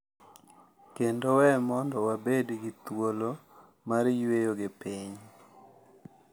Kendo we mondo wabed gi thuolo mar yweyo gi piny.